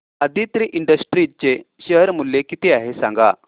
Aditri industries चे share मूल्य किती आहे सांगा